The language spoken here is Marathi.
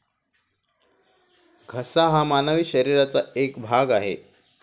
घसा हा मानवी शरीराचा एक भाग आहे.